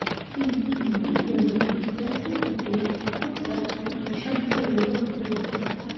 तेन बीजगणित इत्यस्य कृते कुट्टक इति शब्दप्रयोगः कृतः